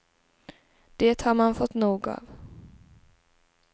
Det har man fått nog av.